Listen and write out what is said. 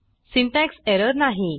syntax error नाही